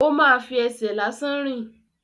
Ó ma fi ẹsẹ̀ lásán rìn.